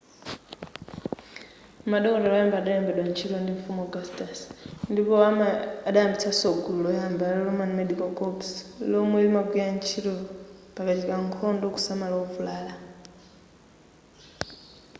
madokotala adayamba kulembedwa ntchito ndi mfumu augustus ndipo adayambitsaso gulu loyamba la roman medical corps lomwe limagwira ntchito pakachitika nkhondo kusamala ovulala